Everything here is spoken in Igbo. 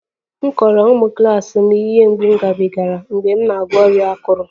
Mụ kọrọ ụmụ klas m ihe mgbu m gabigara mgbe m na-agwọ ọrịa akụrụ